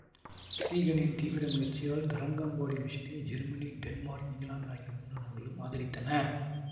சீகனின் தீவிர முயற்சியால் தரங்கம்பாடி மிஷனை ஜெர்மனி டென்மார்க் இங்கிலாந்து ஆகிய மூன்று நாடுகளும் ஆதரித்தன